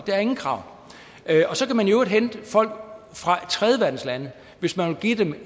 der er ingen krav og så kan man i øvrigt hente folk fra tredjeverdenslande hvis man vil give dem